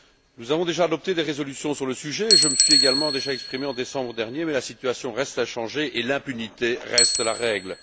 Nous avons déjà adopté des résolutions sur le sujet et je me suis également déjà exprimé en décembre dernier, mais la situation reste inchangée et l'impunité reste la règle.